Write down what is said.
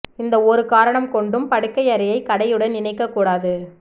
எந்த ஒரு காரணம் கொண்டும் படுக்கை அறையை கடையுடன் இணைக்கக் கூடாது